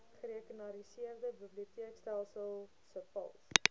gerekenariseerde biblioteekstelsel cpals